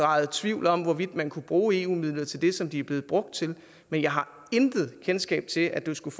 rejst tvivl om hvorvidt man kunne bruge eu midler til det som de er blevet brugt til men jeg har intet kendskab til at der skulle